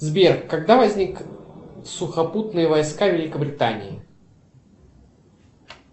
сбер когда возник сухопутные войска великобритании